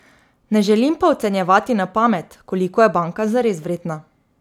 Ne želim pa ocenjevati na pamet, koliko je banka zares vredna.